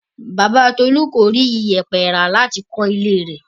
Bàbá Tolú kò rí ìyẹ̀pẹ̀ rà láti kọ́ ilé rẹ̀.